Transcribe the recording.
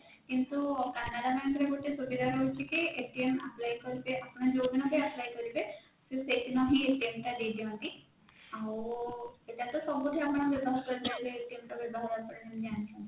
କିନ୍ତୁ canara bank ରେ ଗୋଟେ ସୁବିଧା ରହୁଛି କି apply କରିବେ ଆପଣ ଯୋଉଦିନ ବି apply କରିବେ ସେଇଦିନ ହିଁ ଟା ନେଇଯାନ୍ତି ଆଉ ଏଇଟା ଟା ସବୁଠି ଆପଣ ବ୍ୟବହାର କରିପାରିବେ ତ ବ୍ୟବହାର ଆପଣ କେମିତି ଜାଣିଛନ୍ତି